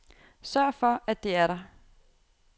Sørg for at det er der.